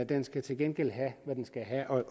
den skal til gengæld have hvad den skal have og